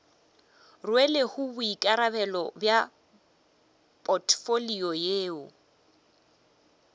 rwelego boikarabelo bja potfolio yeo